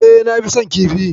Eh na fi son kifi.